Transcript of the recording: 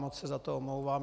Moc se za to omlouvám.